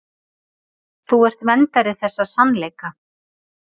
Þú ert verndari þessa sannleika.